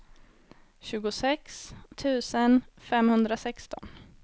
tjugosex tusen femhundrasexton